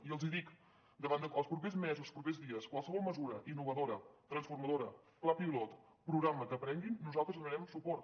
i els dic davant dels propers mesos propers dies qualsevol mesura innovadora transformadora pla pilot programa que aprenguin nosaltres hi donarem suport